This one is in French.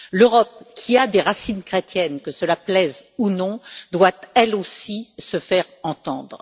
L'Europe, qui a des racines chrétiennes que cela plaise ou non doit, elle aussi, se faire entendre.